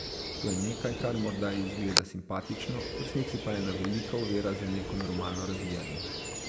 To je nekaj, kar morda izgleda simpatično, v resnici je pa ena velika ovira za neko normalno razvijanje.